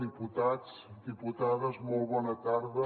diputats diputades molt bona tarda